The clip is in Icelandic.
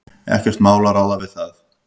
Ekkert mál að ráða við það.